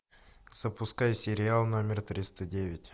запускай сериал номер триста девять